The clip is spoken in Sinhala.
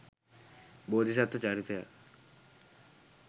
බෝධිසත්ව චරිතයක්.